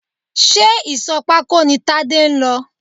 Ṣé ìsò pako ni Tade lọ?